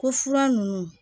Ko fura ninnu